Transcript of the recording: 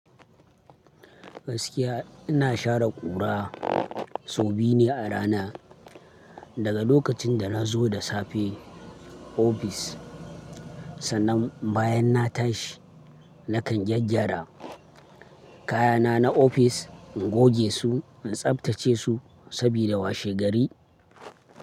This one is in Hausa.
Gaskiya ina share ƙura sau biyu ne a rana. Daga lokacin da nazo da safe ofis sannan bayan na tashi nakan gyaggyara kayana na ofis ingoge su in tsabtace su sabida washe gari.